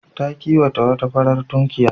Ta kiwata wata farar tukunya.